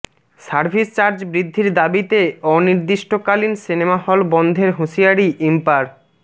service charge বৃদ্ধির দাবিতে অনির্দিষ্টকালীন সিনেমা হল বন্ধের হুঁশিয়ারি ইম্পার